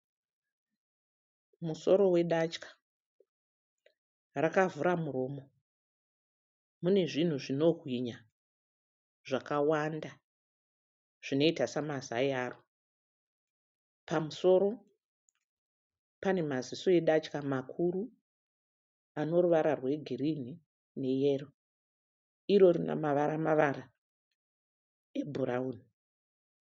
Musoro wedatya. Rakavhura muromo. Munezvinhu zvinobwinya zvakawanda zvinoita samazai aro. Pamusoro panemaziso edatya makuru anoruvara rwegirinhi neyero. Iro rinemavara-mavara ebhurauni.